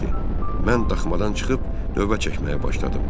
Mən daxmadan çıxıb növbə çəkməyə başladım.